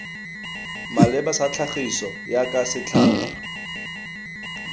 maleba sa tlhagiso jaaka setlhangwa